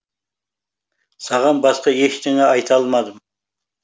саған басқа ештеңе айта алмадым